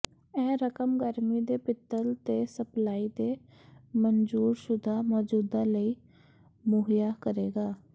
ਇਹ ਰਕਮ ਗਰਮੀ ਦੇ ਪਿੱਤਲ ਦੇ ਸਪਲਾਈ ਦੇ ਮਨਜ਼ੂਰਸ਼ੁਦਾ ਮੌਜੂਦਾ ਲਈ ਮੁਹੱਈਆ ਕਰੇਗਾ